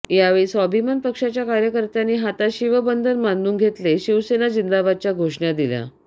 यावेळी स्वाभिमान पक्षाच्या कार्यकर्त्यांनी हातात शिवबंधन बांधून घेतले शिवसेना झिंदाबादच्या घोषणा दिल्या